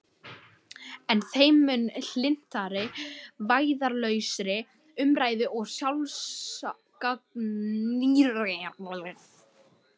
En þeim mun hlynntari vægðarlausri umræðu og sjálfsgagnrýni.